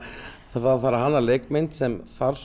það þarf að hanna leikmynd sem þarf